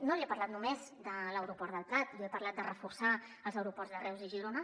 no li he parlat només de l’aeroport del prat jo he parlat de reforçar els aeroports de reus i girona